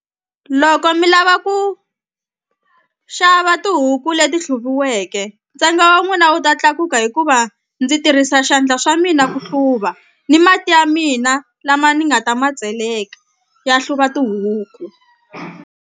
Loko mi lava ku xava tihuku leti hluviweke ntsengo wa n'wina wu ta tlakuka hikuva ndzi tirhisa swandla swa mina ku hluva ni mati ya mina lama ni nga ta ma tseleka ya hluva tihuku.